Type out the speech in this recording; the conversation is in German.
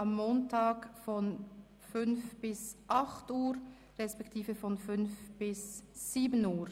Somit beginnt die Session am Mittwoch, den 6. Dezember 2017, um 08.00 Uhr.